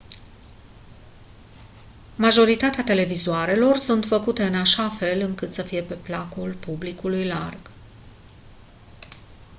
majoritatea televizoarelor sunt făcute în așa fel încât să fie pe placul publicului larg